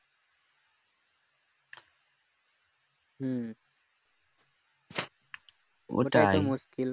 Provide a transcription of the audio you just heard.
হম